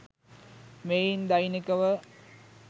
මෙයින් දෛනික ව